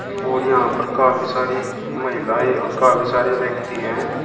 और यहां पर काफी सारी महिलाएं और काफी सारे व्यक्ति हैं।